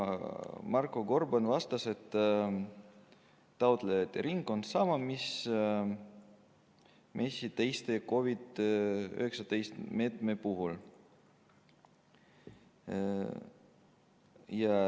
Marko Gorban vastas, et taotlejate ring on sama, mis MES-i teiste COVID-19 meetmete puhul.